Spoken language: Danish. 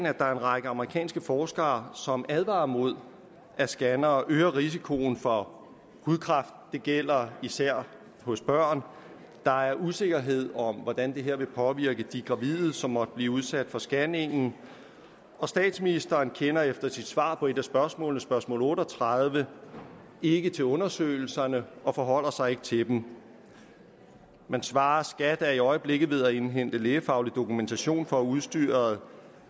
at der er en række amerikanske forskere som advarer mod at scannere øger risikoen for hudkræft det gælder især hos børn der er usikkerhed om hvordan det her vil påvirke de gravide som måtte blive udsat for scanningen og statsministeren kender ifølge sit svar på et af spørgsmålene spørgsmål otte og tredive ikke til undersøgelserne og forholder sig ikke til dem men svarer skat er i øjeblikket ved at indhente lægefaglig dokumentation for at udstyret